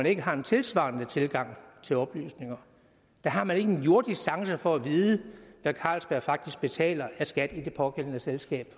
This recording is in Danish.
ikke har en tilsvarende tilgang til oplysninger har man ikke en jordisk chance for at vide hvad carlsberg faktisk betaler af skat i det pågældende selskab